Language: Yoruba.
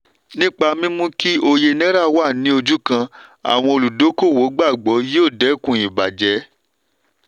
nípa mímú kí òye náírà wá ní ojú kan àwọn olúdókòwò gbàgbọ́ yóò dẹkùn ìbajẹ́.